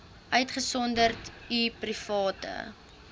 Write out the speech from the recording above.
uitgesonderd u private